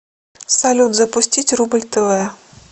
салют запустить рубль тв